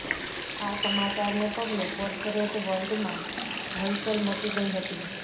આ સમાચારને પગલે કોર્પોરેટ વર્લ્ડમાં હલચલ મચી ગઈ હતી